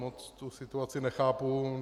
Moc tu situaci nechápu.